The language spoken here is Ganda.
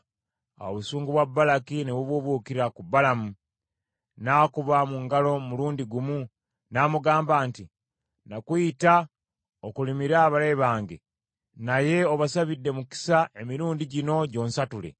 Awo obusungu bwa Balaki ne bubuubuukira ku Balamu. N’akuba mu ngalo omulundi gumu, n’amugamba nti, “Nakuyita okolimire abalabe bange, naye obasabidde mukisa emirundi gino gyonsatule.